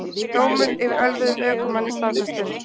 Dómur yfir ölvuðum ökumanni staðfestur